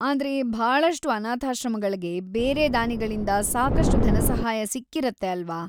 ಆದ್ರೆ ಭಾಳಷ್ಟು ಅನಾಥಾಶ್ರಮಗಳ್ಗೆ ಬೇರೆ ದಾನಿಗಳಿಂದ ಸಾಕಷ್ಟು ಧನಸಹಾಯ ಸಿಕ್ಕಿರತ್ತೆ ಅಲ್ವಾ?